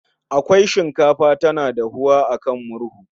Akwai shinkafa tana dahuwa a kan murhu